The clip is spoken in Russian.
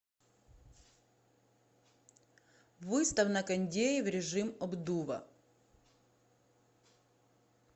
выставь на кондее в режим обдува